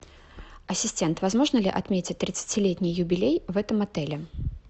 ассистент возможно ли отметить тридцатилетний юбилей в этом отеле